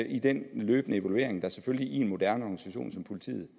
i den løbende evaluering der selvfølgelig i en moderne organisation som politiet